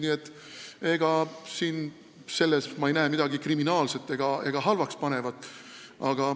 Nii et selles ma ei näe midagi kriminaalset ega halba.